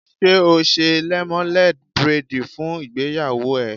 Ṣé ó ṣe lẹ́móléd bréèdì fún ìgbéyàwó ẹ̀?